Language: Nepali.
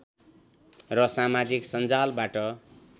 र समाजिक सञ्जालबाट